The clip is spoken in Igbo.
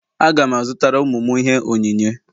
Aga m azụtara ụmụ m ihe onyinye.